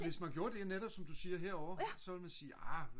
hvis man gjorde det netop som du siger herovre så ville man sige arh